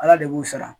Ala de b'u sara